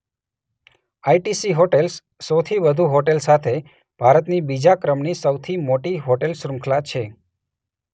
ITC hotels સોથી વધુ hotel સાથે ભારતની બીજા ક્રમની સૌથી મોટી હોટેલ શૃંખલા છે.